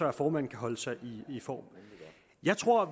at formanden kan holde sig i form jeg tror